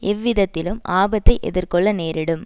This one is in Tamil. எவ்விதத்திலும் ஆபத்தை எதிர் கொள்ள நேரிடும்